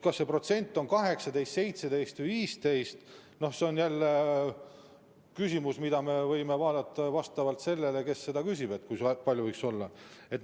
Kas see protsent on 18, 17 või 15, see on jälle küsimus, mida me võime vaadata vastavalt sellele, kes seda küsib.